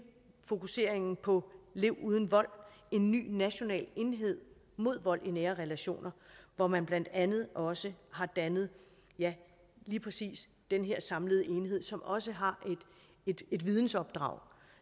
fokuseringen på lev uden vold en ny national enhed mod vold i nære relationer hvor man blandt andet også har dannet lige præcis den her samlede enhed som også har et et vidensopdrag